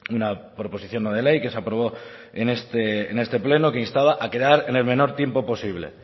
una proposición no de ley que se aprobó en este pleno que instaba a quedar en el menor tiempo posible